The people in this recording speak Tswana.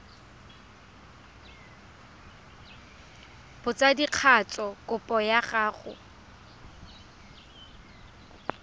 ya botsadikatsho kopo ya go